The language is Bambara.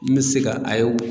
N mɛ se ka